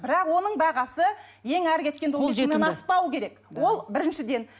бірақ оның бағасы ең әрі кеткенде аспауы керек ол біріншіден